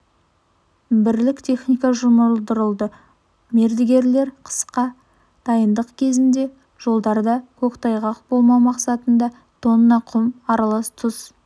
бірлік техника жұмылдырылды мердігерлер қысқа дайындық кезінде жолдарда көктайғақ болмау мақсатында тонна құм аралас тұз